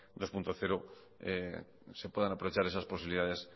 dos punto cero se puedan aprovechar esas posibilidades